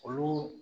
Olu